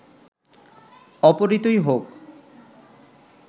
অপহৃতই হোক